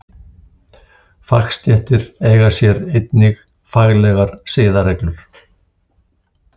Fagstéttir eiga sér einnig faglegar siðareglur.